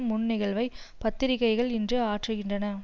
முன் நிகழ்வை பத்திரிக்கைகள் இன்று ஆற்றுகின்றன